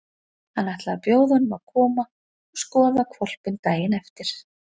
Hann ætlaði að bjóða honum að koma og skoða hvolpinn daginn eftir.